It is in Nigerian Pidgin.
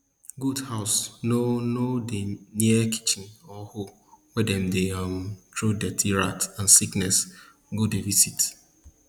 goat house nor nor dey near kitchen or hole wey dem dey um throw dirty rat and sickness go dey visit